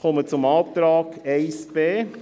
Ich komme zum Antrag 1b.